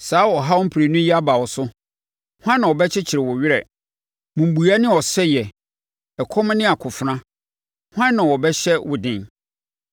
Saa ɔhaw prenu yi aba wo so, hwan na ɔbɛkyekye wo werɛ? Mmubuiɛ ne ɔsɛeɛ, ɛkɔm ne akofena, hwan na ɔbɛhyɛ wo den?